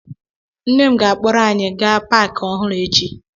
Nne m ga-akpọrọ anyị gaa Pááki ọhụrụ echi